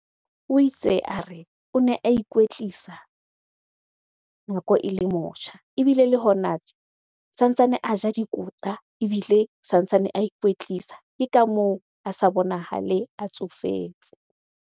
O itse a re, o ne a ikwetlisa nako ele motjha. Ebile le hona a ja ebile santsane a ikwetlisa. Ke ka moo a sa bonahale a tsofetse.